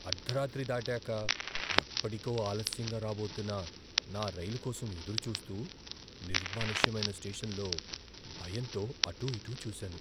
అర్ధరాత్రి దాటాక ఎప్పటికో ఆలస్యంగా రాబోతున్న నా రైలు కోసం ఎదురుచూస్తూ, నిర్మానుష్యమైన స్టేషన్లో భయంతో అటూ ఇటూ చూశాను.